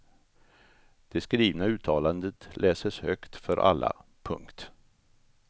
Det skrivna uttalandet läses högt för alla. punkt